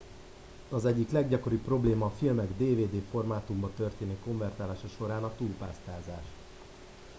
az egyik leggyakoribb probléma a filmek dvd formátumba történő konvertálása során a túlpásztázás